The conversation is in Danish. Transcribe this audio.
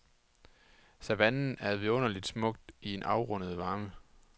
Savannen er vidunderligt smuk i sin afrundede varme.